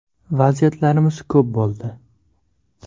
Vaziyatlarimiz ko‘p bo‘ldi.